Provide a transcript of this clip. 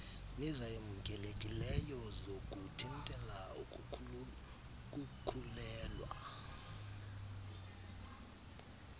nezamkelekileyo zokuthintela ukukhulelwa